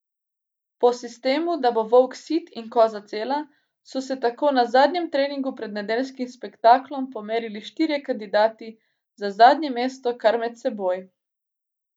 Po sistemu, da bo volk sit in koza cela, so se tako na zadnjem treningu pred nedeljskim spektaklom, pomerili štirje kandidati za zadnje mesto kar med seboj.